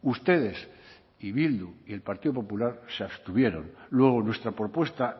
ustedes y bildu y el partido popular se abstuvieron luego nuestra propuesta